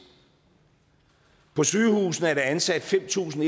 på sygehusene er ansat fem tusind